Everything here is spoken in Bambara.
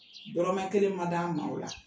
Dɔrɔromɛ kelen ma d'an ma o la